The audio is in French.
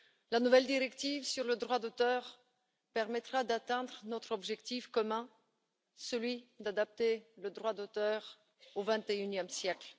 La nouvelle directive sur le droit d'auteur permettra d'atteindre notre objectif commun, celui d'adapter le droit d'auteur au vingt et unième siècle.